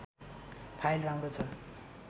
file राम्रो छ